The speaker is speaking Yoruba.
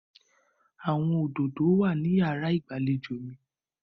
Àwọn òdòdó wà ní ìyàrá ìgbàlejò mi.